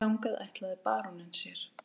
Þangað ætlaði baróninn sér.